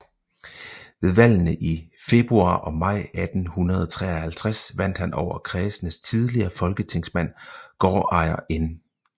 Ved valgene i februar og maj 1853 vandt han over kredsens tidligere folketingsmand gårdejer N